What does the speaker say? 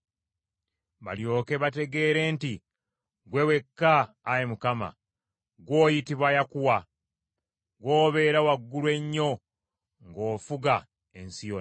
Balyoke bategeere nti, Ggwe wekka, Ayi Mukama , ggw’oyitibwa Yakuwa , gw’obeera waggulu ennyo ng’ofuga ensi yonna.